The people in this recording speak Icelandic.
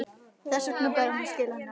Þess vegna bæri sér að skila henni aftur.